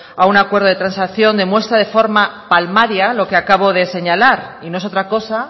a un acuerdo de transacción demuestra de forma palmaria lo que acabo de señalar y no es otra cosa